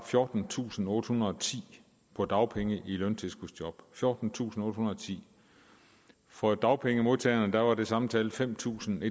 fjortentusinde og ottehundrede og ti på dagpenge i løntilskudsjob fjortentusinde og ottehundrede og ti for dagpengemodtagerne var det samme tal fem tusind